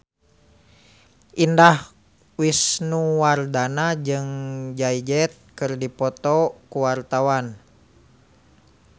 Indah Wisnuwardana jeung Jay Z keur dipoto ku wartawan